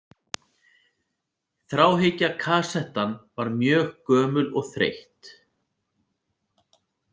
Þráhyggja Kassettan var mjög gömul og þreytt.